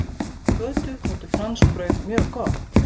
Kötu þótti franskbrauð mjög gott.